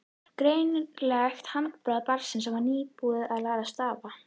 Greinilegt handbragð barns sem var nýbúið að læra stafina.